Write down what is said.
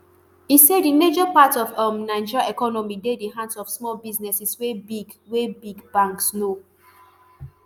e say di major part of um nigeria economy dey di hands of small businesses wey big wey big banks no